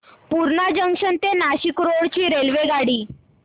Purna junction ते Nashik road ची रेल्वेगाडी